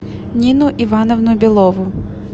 нину ивановну белову